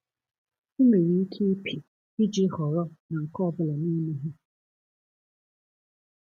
I nwere ike ịpị iji họrọ na nke ọ bụla n'ime ha.